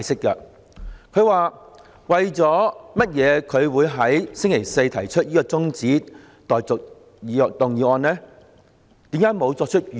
他先寫道："為甚麼我就星期四提出的中止待續動議沒有作出預告？